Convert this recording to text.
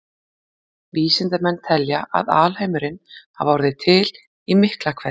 Vísindamenn telja að alheimurinn hafi orðið til í Miklahvelli.